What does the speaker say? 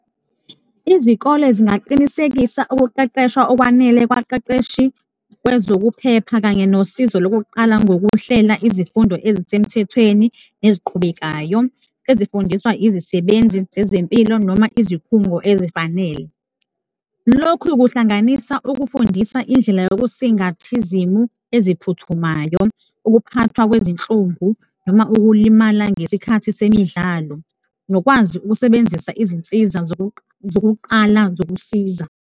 Izikole zingaqinisekisa ukuqeqeshwa okwanele kwaqeqeshi kwezokuphepha kanye nosizo lokuqala ngokuhlela izifundo ezisemthethweni eziqhubekayo, ezifundiswa izisebenzi zezempilo noma izikhungo ezifanele. Lokhu kuhlanganisa ukufundisa indlela yokusingatha izimu eziphuthumayo, ukuphathwa kwezinhlungu noma ukulimala ngesikhathi semidlalo nokwazi ukusebenzisa izinsiza zokuqala zokusiza.